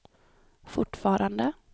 fortfarande